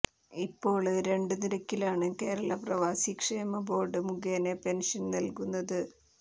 ഇപ്പോള് രണ്ടു നിരക്കിലാണ് കേരള പ്രവാസിക്ഷേമ ബോര്ഡ് മുഖേന പെന്ഷന് നല്കുന്നത്